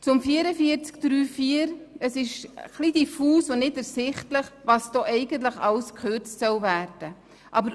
Zur Massnahme 44.3.4: Es ist etwas diffus und nicht ersichtlich, was alles genau gekürzt werden soll.